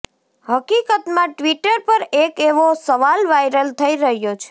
હકીકતમાં ટ્વિટર પર એક એવો સવાલ વાયરલ થઈ રહ્યો છે